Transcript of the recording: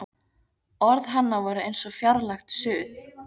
Orð hennar voru eins og fjarlægt suð.